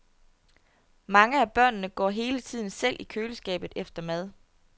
Mange af børnene går hele tiden selv i køleskabet efter mad.